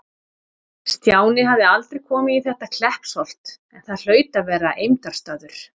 Stjáni hafði aldrei komið í þetta Kleppsholt, en það hlaut að vera eymdarstaður.